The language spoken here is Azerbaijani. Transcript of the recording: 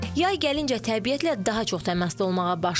Yay gəlincə təbiətlə daha çox təmasda olmağa başlayırıq.